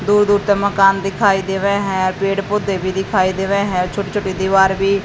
दूर दूर तक मकान दिखाई दे रहे हैं। पेड़ पौधे भी दिखाई दे रहे हैं। छोटे छोटे दीवार भी--